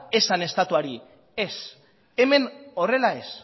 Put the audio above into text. esan estatuari ez hemen horrela ez